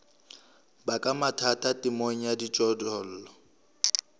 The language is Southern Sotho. baka mathata temong ya dijothollo